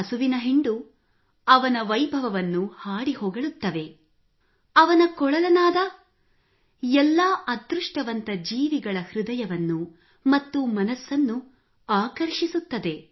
ಹಸುವಿನ ಹಿಂಡು ಅವನ ವೈಭವವನ್ನು ಹಾಡಿಹೊಗಳುತ್ತವೆ ಅವನ ಕೊಳಲನಾದ ಎಲ್ಲಾ ಅದೃಷ್ಟವಂತ ಜೀವಿಗಳ ಹೃದಯವನ್ನು ಮತ್ತು ಮನಸ್ಸನ್ನು ಆಕರ್ಷಿಸುತ್ತದೆ